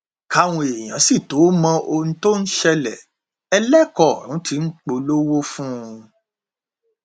káwọn èèyàn sì tóó mọ ohun tó ń ṣẹlẹ ẹlẹkọ ọrun tí ń polówó fún un